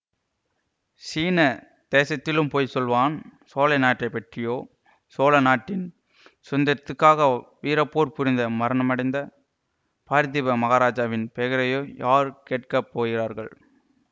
சீன தேசத்திலும் போய் சொல்வான் சோழ நாட்டை பற்றியோ சோழ நாட்டின் சுதந்திரத்துக்காக வீரப்போர் புரிந்து மரணமடைந்த பார்த்திப மகாராஜாவின் பெயரையோ யார் கேட்க போகிறார்கள்